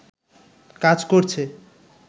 কাজ করছে